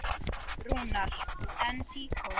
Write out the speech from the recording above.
Rúnar: En tíkó?